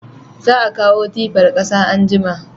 Za a kawo tifan kasa anjima